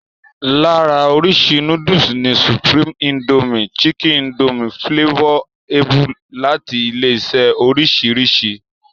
Lára oríṣi núdùsù ni supreme, Indomie chicken, Indomie flavor abbl. láti ilé-iṣẹ́ oríṣiríṣi.